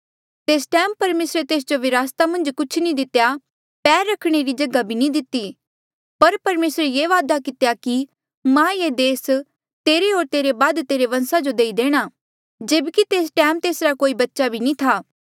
तेस टैम परमेसरे तेस जो विरासता मन्झ कुछ नी दितेया पैर रखणे री भी जगहा नी दिती पर परमेसरे ये वादा कितेया कि मां ये देस तेरे होर तेरे बाद तेरे बंसा जो देई देणा जेब्की तेस टैम तेसरा कोई बच्चा भी नी था